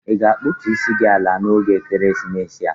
Ị ga-akpụtų isi gi ala n'oge ekeresimesi a?